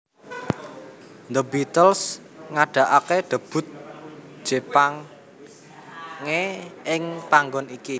The Beatles ngadaake debut Jepange ing panggon iki